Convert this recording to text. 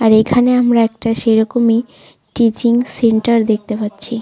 আর এখানে আমরা একটা সেইরকমই টিচিং সেন্টার দেখতে পাচ্ছি।